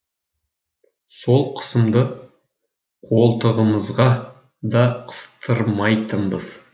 сол қысымды қолтығымызға да қыстырмайтынбыз